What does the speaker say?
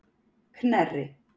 Knerri